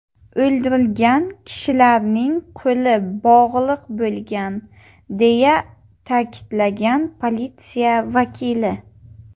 O‘ldirilgan kishilarning qo‘li bog‘liq bo‘lgan”, deya ta’kidlagan politsiya vakili.